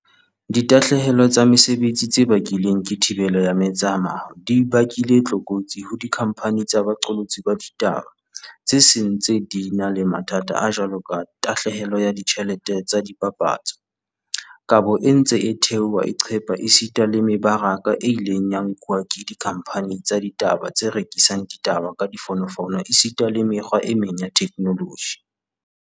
Ditahlehelo tsa mesebetsi tse bakilweng ke thibelo ya metsamao di bakile tlokotsi ho dikhamphani tsa boqolotsi ba ditaba tse seng di ntse di na le mathata a jwaloka tahlehelo ya ditjhelete tsa dipapatso, kabo e ntseng e theoha e qepha esita le me baraka e ileng ya nkuwa ke dikhamphani tsa ditaba tse rekisang ditaba ka difono fono esita le mekgwa e meng ya theknoloji.